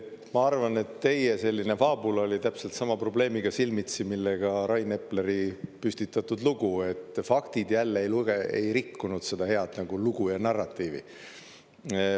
Ma arvan, et teie selline faabula oli täpselt sama probleemiga silmitsi, millega Rain Epleri püstitatud lugu, et faktid jälle ei rikkunud seda head lugu ja narratiivi.